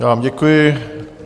Já vám děkuji.